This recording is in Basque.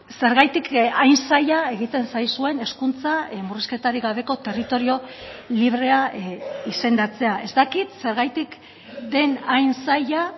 zergatik hain zaila egiten zaizuen hezkuntza murrizketarik gabeko territorio librea izendatzea ez dakit zergatik den hain zaila